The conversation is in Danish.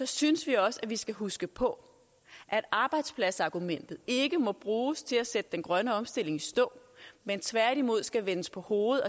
synes vi også vi skal huske på at arbejdspladsargumentet ikke må bruges til at sætte den grønne omstilling i stå men tværtimod skal vendes på hovedet